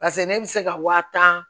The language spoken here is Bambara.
Paseke ne bɛ se ka wa tan